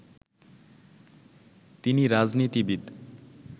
তিনি রাজনীতিবিদ